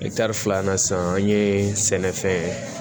filanan san an ye sɛnɛfɛn ye